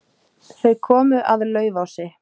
Þau komu að Laufási.